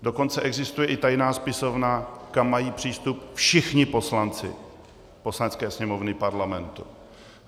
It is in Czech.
Dokonce existuje i tajná spisovna, kam mají přístup všichni poslanci Poslanecké sněmovny Parlamentu.